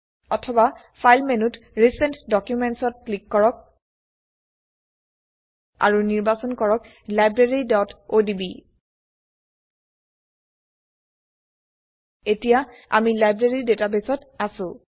অথবা ফাইল মেনুত recent Documents ত ক্লিক কৰক আৰু নিৰ্বাচন কৰক libraryঅডিবি এতিয়া আমি লাইব্ৰেৰী ডাটাবেস ত আছো